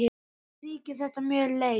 Mér þykir þetta mjög leitt.